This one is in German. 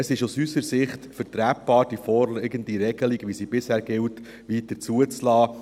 Es ist aus unserer Sicht vertretbar, die vorliegende Regelung, wie sie bisher gilt, weiterhin zuzulassen.